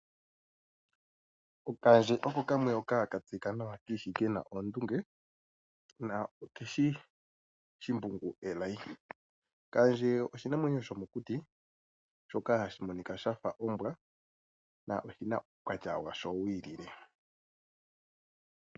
Okaandje oko kamwe hoka ka tseyika kiishi kena oondunge na okeshi Shimbungu akotha. Kaandje oshinamwenyo shomokuti shoka hashi monika shafa ombwa na oshi na uukwatya washo wi ilile.